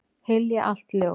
Hylja allt ljós.